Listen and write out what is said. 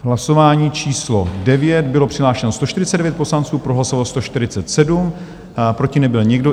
Hlasování číslo 9, bylo přihlášeno 149 poslanců, pro hlasovalo 147, proti nebyl nikdo.